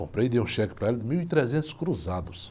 Comprei e dei um cheque para ela de mil e trezentos cruzados.